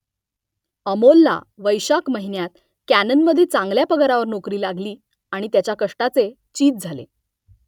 अमोलला वैशाख महिन्यात कॅननमध्ये चांगल्या पगारावर नोकरी लागली आणि त्याच्या कष्टाचे चीज झाले